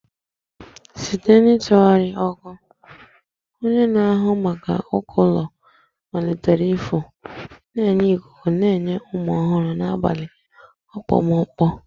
Site n'ịtụgharị ọkụ, onye na-ahụ maka uko ụlọ malitere ịfụ, na-enye ikuku na-enye ume ọhụrụ n'abalị okpomọkụ.